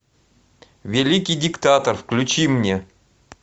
великий диктатор включи мне